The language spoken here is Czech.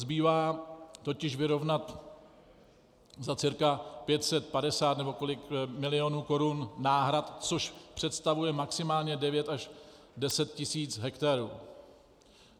Zbývá totiž vyrovnat za cca 550 nebo kolik milionů korun náhrad, což představuje maximálně 9 až 10 tisíc hektarů.